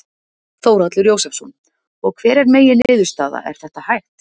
Þórhallur Jósefsson: Og hver er megin niðurstaða, er þetta hægt?